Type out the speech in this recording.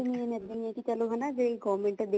main ਇੱਦਾਂ ਈ ਹੈ ਕੀ ਚਲੋ ਹਨਾ ਜੇ government ਦੇ